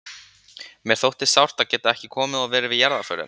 Mér þótti sárt að geta ekki komið og verið við jarðarförina.